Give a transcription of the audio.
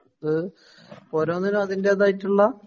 അത് ഓരോന്നിന്നും അതിന്റേതായിട്ടുള്ള